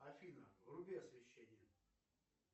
афина вруби освещение